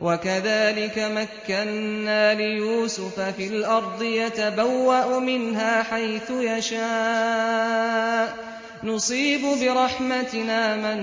وَكَذَٰلِكَ مَكَّنَّا لِيُوسُفَ فِي الْأَرْضِ يَتَبَوَّأُ مِنْهَا حَيْثُ يَشَاءُ ۚ نُصِيبُ بِرَحْمَتِنَا مَن